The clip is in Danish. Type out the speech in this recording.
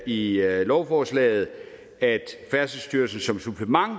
i lovforslaget at færdselsstyrelsen som supplement